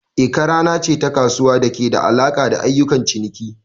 Eke rana ce ta kasuwa da ke da alaƙa da ayyukan ciniki.